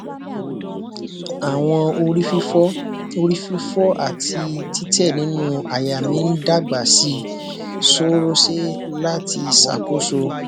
awọn orififo orififo ati titẹ ninu àyà mi n dagba sii sorose lati sakoso